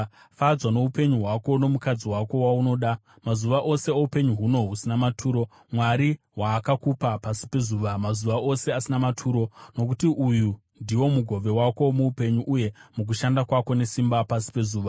Fadzwa noupenyu hwako nomukadzi wako waunoda, mazuva ose oupenyu huno husina maturo Mwari hwaakakupa pasi pezuva, mazuva ose asina maturo. Nokuti uyu ndiwo mugove wako muupenyu uye mukushanda kwako nesimba pasi pezuva.